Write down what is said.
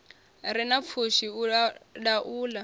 re na pfushi u laula